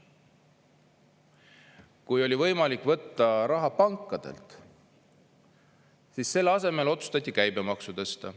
Kui oli võimalik võtta raha pankadelt, siis selle asemel otsustati käibemaksu tõsta.